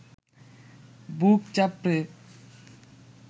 বুক চাপড়ে